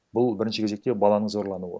бұл бірінші кезекте баланың зорлануы